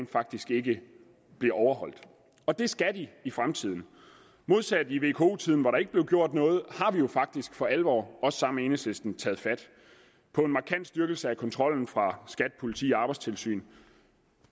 faktisk ikke bliver overholdt og det skal de i fremtiden modsat i vko tiden hvor der ikke blev gjort noget har vi jo faktisk for alvor også sammen med enhedslisten taget fat på en markant styrkelse af kontrollen fra skat politi og arbejdstilsyn